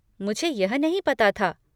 मुझे यह नहीं पता था।